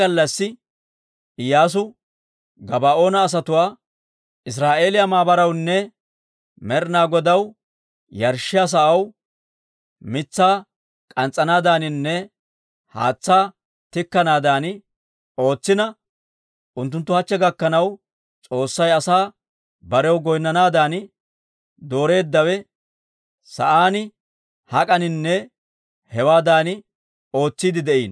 He gallassi Iyyaasu Gabaa'oona asatuwaa Israa'eeliyaa maabarawunne Med'ina Godaw yarshshiyaa sa'aw mitsaa k'ans's'anaadaaninne haatsaa tikkanaadan ootsina unttunttu hachche gakkanaw S'oossay Asay barew goynnanaadan dooreeddawe sa'aan hak'aninne hewaadan ootsiidde de'iino.